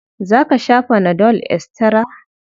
Za ka sha fana dol estira?